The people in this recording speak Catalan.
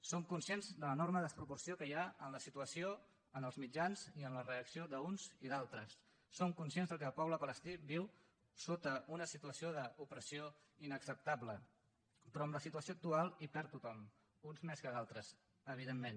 som conscients de l’enorme desproporció que hi ha en la situació en els mitjans i en la reacció d’uns i d’altres som conscients que el poble palestí viu sota una situació d’opressió inacceptable però amb la situació actual hi perd tothom uns més que d’altres evidentment